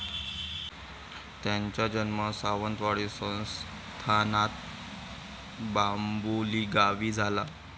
त्यांचा जन्म सावंतवाडी संस्थानात बाम्बुलीगावी झाला.